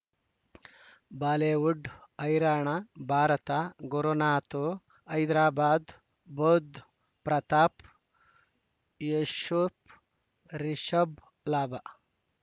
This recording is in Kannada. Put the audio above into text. ಬಾಲಿವುಡ್ ಹೈರಾಣ ಭಾರತ ಗುರುನಾತು ಹೈದರಾಬಾದ್ ಬುಧ್ ಪ್ರತಾಪ್ ಯೂಶಪ್ ರಿಷಬ್ ಲಾಭ